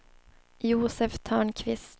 Josef Törnqvist